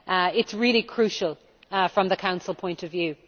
It is really crucial from the Council point of view.